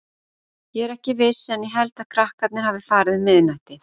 Ég er ekki viss en ég held að krakkarnir hafi farið um miðnætti.